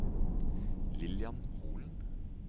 Lillian Holen